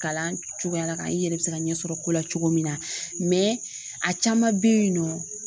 Kalan cogoya la ka i yɛrɛ bɛ se ka ɲɛsɔrɔ ko la cogo min na a caman bɛ yen nɔ